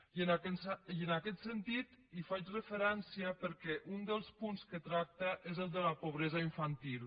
i en aquest sentit hi faig referència perquè un dels punts de què tracta és el de la pobresa infantil